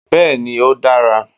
Béeni, o dára